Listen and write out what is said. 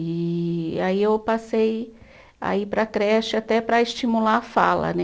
E aí eu passei a ir para a creche até para estimular a fala, né?